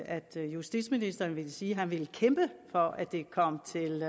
at justitsministeren ville sige at han ville kæmpe for at det kom til